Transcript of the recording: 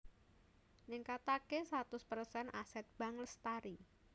Ningkatake satus persen Aset Bank Lestari